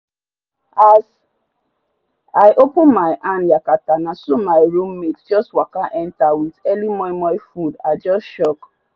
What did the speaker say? as i open my hand yakata naso my roo matie jus waka enta wit earli momo food i jus shock